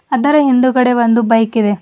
ಅದರ ಹಿಂದುಗಡೆ ಒಂದು ಬೈಕ್ ಇದೆ.